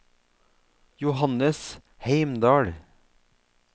Johannes Heimdal